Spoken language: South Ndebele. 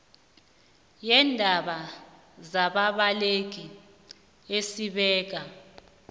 yeendaba zababaleki esibeka